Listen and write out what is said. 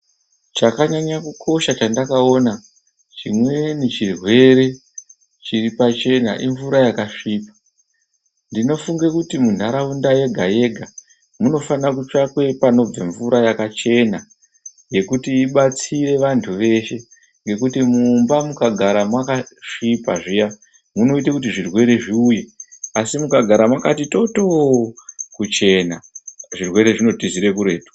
Chakanyanya kukosha chandakaona, chimweni chirwere chiri pachena imvura yakasvipa. Ndinofunge kuti munharaunda yega yega munofane kutsvakwe panobve mvura yakachena yekuti ibatsire vantu veshe ngekuti mumba mukagara mwakasvipa zviya munoite kuti zvirwere zviuye, Asi mukagara makati tooto kuchena, zvirwere zvinotizire kuretu.